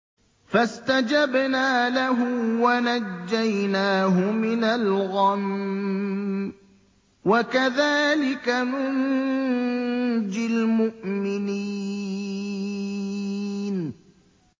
فَاسْتَجَبْنَا لَهُ وَنَجَّيْنَاهُ مِنَ الْغَمِّ ۚ وَكَذَٰلِكَ نُنجِي الْمُؤْمِنِينَ